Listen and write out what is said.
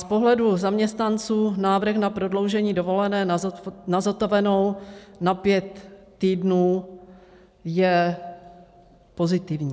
Z pohledu zaměstnanců návrh na prodloužení dovolené na zotavenou na pět týdnů je pozitivní.